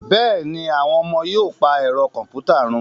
Bẹ́ẹ̀ ni, àwọn ọmọ yóò pa ẹ̀rọ kọ̀m̀pútà run